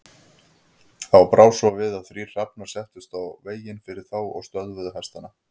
Þá brá svo við að þrír hrafnar settust í veginn fyrir þá og stöðvuðu hestana.